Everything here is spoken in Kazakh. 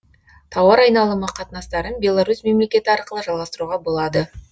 тауар айналымы қатынастарын беларусь мемлекеті арқылы жалғастыруға болады